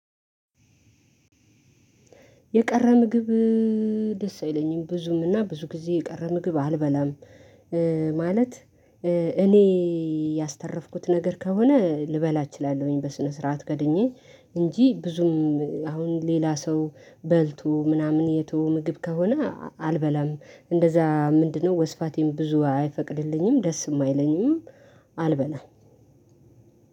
የቀረ ምግብ ደስ አይለኝም፤ ብዙም እና ብዙ ጊዜ የቀረ ምግብ አልበላም። ማለት እኔ ያስተረፍኩት ነገር ከሆነ ልበላ እችላለሁኝ፤ በስነ ስርዓት ከደኜ እንጂ ብዙም አሁን ሌላ ሰው በልቶ ምናምን የተው ምግብ ከሆነ አልበላም፤ እንደዛ ምንድነው ወስፋቴን ብዙ አይፈቅድልኝም ደስም አይለኝም አልበላም።